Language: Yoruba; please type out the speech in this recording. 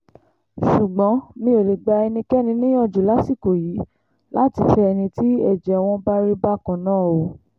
ṣùgbọ́n mi ò lè gba ẹnikẹ́ni níyànjú lásìkò yìí láti fẹ́ ẹni tí ẹ̀jẹ̀ wọn bá rí bákan náà o